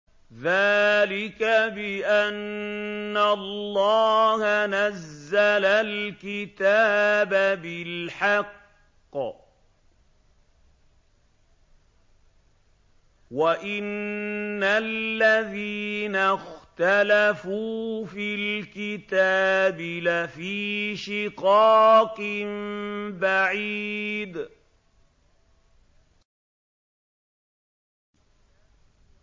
ذَٰلِكَ بِأَنَّ اللَّهَ نَزَّلَ الْكِتَابَ بِالْحَقِّ ۗ وَإِنَّ الَّذِينَ اخْتَلَفُوا فِي الْكِتَابِ لَفِي شِقَاقٍ بَعِيدٍ